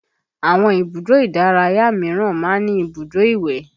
Àwọn ibùdó ìdárayá míràn máa ń ní ibùdó ìwẹ̀